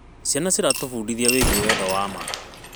Ciana ciratũbundithia wĩgiĩ wendo wa ma.